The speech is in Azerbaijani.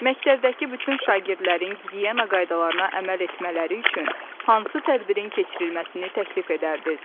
Məktəbdəki bütün şagirdlərin gigiyena qaydalarına əməl etmələri üçün hansı tədbirin keçirilməsini təklif edərdiniz?